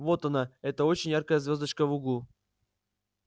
вот она эта очень яркая звёздочка в углу